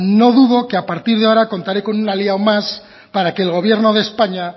no dudo que a partir de ahora contaré con un aliado más para que el gobierno de españa